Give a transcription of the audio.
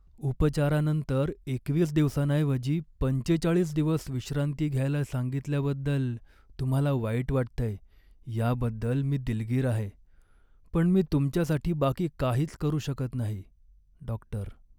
उपचारानंतर एकवीस दिवसांऐवजी पंचेचाळीस दिवस विश्रांती घ्यायला सांगितल्याबद्दल तुम्हाला वाईट वाटतंय याबद्दल मी दिलगीर आहे, पण मी तुमच्यासाठी बाकी काहीच करू शकत नाही. डॉक्टर